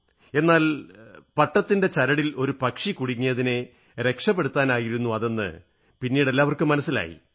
എന്നാൽ പട്ടത്തിന്റെ ചരടിയിൽ ഒരു പക്ഷി കുടുങ്ങിയതിനെ രക്ഷപ്പെടുത്താനായിരുന്നു അതെന്ന് പിന്നീട് എല്ലാവർക്കും മനസ്സിലായി